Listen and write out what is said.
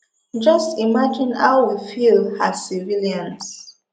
just imagine how we feel as civilians